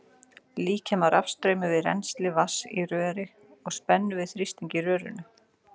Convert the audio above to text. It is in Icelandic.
Líkja má rafstraumi við rennsli vatns í röri og spennu við þrýstinginn í rörinu.